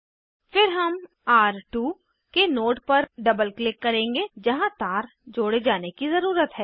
फिर हम र2 के नोड पर डबल क्लिक करेंगे जहाँ तार जोड़े जाने की ज़रुरत है